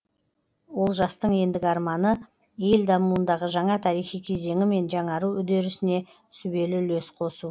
олжастың ендігі арманы ел дамуындағы жаңа тарихи кезеңі мен жаңару үдерісіне сүбелі үлес қосу